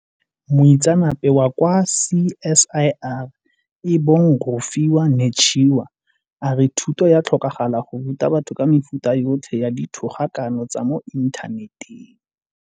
Moitseanape wa kwa CSIR e bong Rofhiwa Netshiya a re thuto ya tlhokagala go ruta batho ka mefuta yotlhe ya dithogakano tsa mo inthaneteng.